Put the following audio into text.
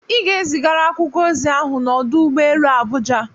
Ị ga-ezigara akwụkwọ ozi ahụ n'ọdụ ụgbọ elu Abuja!